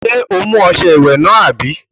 O mú ọṣẹ ìwẹ̀ náà, àbí?